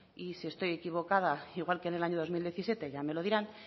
y si estoy equivocada igual que en el año dos mil diecisiete ya me lo dirán